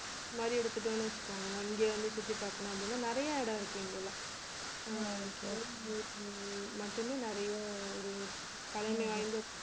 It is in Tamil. மாதிரி எடுத்துட்டோன்னு வச்சுக்கோங்களேன் இங்கே வந்து சுத்தி பார்க்கணும் அப்படின்னா நிறைய இடம் இருக்கு இங்கே எல்லாம் அஹ் கோவில் மட்டுமே நிறைய ஒரு பழமை வாய்ந்த